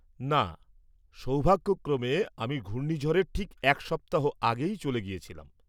না, সৌভাগ্যক্রমে আমি ঘূর্ণিঝড়ের ঠিক এক সপ্তাহ আগেই চলে গিয়েছিলাম।